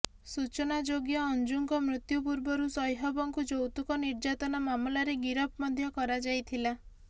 ସୂଚନାଯୋଗ୍ୟ ଅଞ୍ଜୁଙ୍କ ମୃତ୍ୟୁ ପୂର୍ବରୁ ସୁହୈବଙ୍କୁ ଯୌତୁକ ନିର୍ଯାତନା ମାମଲାରେ ଗିରଫ ମଧ୍ୟ କରାଯାଇଥିଲା